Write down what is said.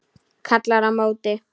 Kallar á móti.